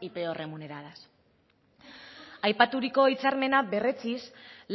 y peor remuneradas aipaturiko hitzarmena berretsiz